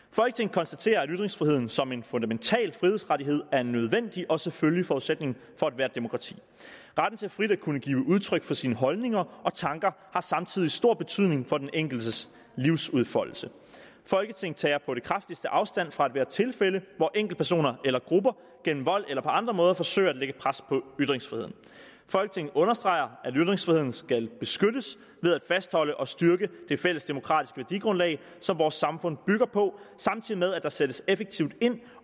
konstaterer at ytringsfriheden som en fundamental frihedsrettighed er en nødvendig og selvfølgelig forudsætning for ethvert demokrati retten til frit at kunne give udtryk for sine holdninger og tanker har samtidig stor betydning for den enkeltes livsudfoldelse folketinget tager på det kraftigste afstand fra ethvert tilfælde hvor enkeltpersoner eller grupper gennem vold eller på andre måder forsøger at lægge pres på ytringsfriheden folketinget understreger at ytringsfriheden skal beskyttes ved at fastholde og styrke det fælles demokratiske værdigrundlag som vores samfund bygger på samtidig med at der sættes effektivt ind